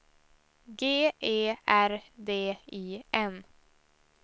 G E R D I N